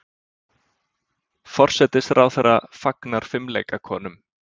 Forsætisráðherra samfagnar fimleikakonum